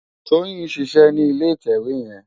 Toyin n ṣiṣè ni ilé itèwé yèn